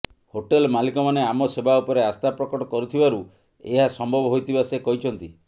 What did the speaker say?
hotel ମାଲିକମାନେ ଆମ ସେବା ଉପରେ ଆସ୍ଥା ପ୍ରକଟ କରିଥିବାରୁ ଏହା ସମ୍ଭବ ହୋଇଥିବା ସେ କହିଛନ୍ତି